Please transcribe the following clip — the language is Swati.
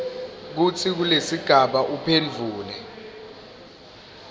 kutsi kulesigaba uphendvule